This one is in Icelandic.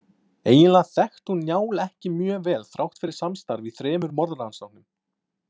Eiginlega þekkti hún Njál ekki mjög vel þrátt fyrir samstarf í þremur morðrannsóknum.